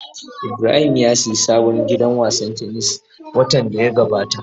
Ibrahim ya sayi sabon gidan wasan tennis watan da ya gabata.